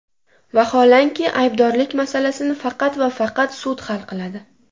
Vaholanki, aybdorlik masalasini faqat va faqat sud hal qiladi.